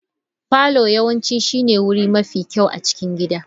Parlour yawanci shine wuri mafi kyau a cikin gida.